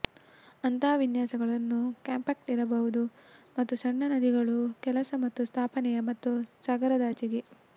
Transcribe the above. ಅಂತಹ ವಿನ್ಯಾಸಗಳನ್ನು ಕಾಂಪ್ಯಾಕ್ಟ್ ಇರಬಹುದು ಮತ್ತು ಸಣ್ಣ ನದಿಗಳು ಕೆಲಸ ಮತ್ತು ಸ್ಥಾಪನೆಯ ಮತ್ತು ಸಾಗರದಾಚೆಗೆ